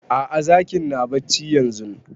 A'a zakin na barci yanzun